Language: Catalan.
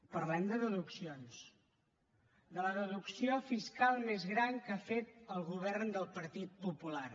parlem de deduccions de la deducció fiscal més gran que ha fet el govern del partit popular